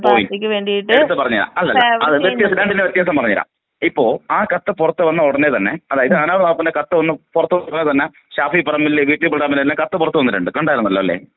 Point. എട്ത്ത് പറഞേരാം വ്യതൃസം ഞാനിതിന്റ വ്യത്യാസം പറഞേരാം.ഇപ്പൊ ആ കത്ത് പുറത്ത് വന്ന ഉടനെ തന്നെ അതായത് നോട്ട്‌ ക്ലിയർ കത്ത് പുറത്ത് വന്ന ഉടനെ തന്നെ ഷാഫി പറമ്പിലിൻറെ വീട്ടിൽ തന്നെ കത്ത് പുറത്ത് വന്നു. കണ്ടാരുന്നല്ലോ അല്ലെ?